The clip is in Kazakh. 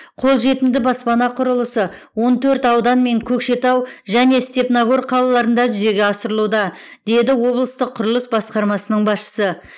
қолжетімді баспана құрылысы он төрт аудан мен көкшетау және степногор қалаларында жүзеге асырылуда деді облыстық құрылыс басқармасының басшысы